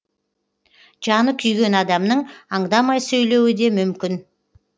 жаны күйген адамның аңдамай сөйлеуі де мүмкін